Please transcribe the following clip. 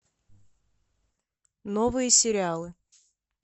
новые сериалы